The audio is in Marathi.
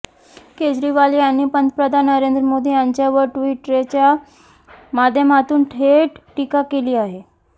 केजरीवाल यांनी पंतप्रधान नेरंद्र मोदी यांच्यावर ट्विटरच्या माध्यमातून थेट टीका केली आहे